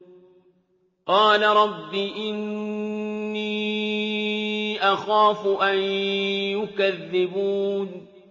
قَالَ رَبِّ إِنِّي أَخَافُ أَن يُكَذِّبُونِ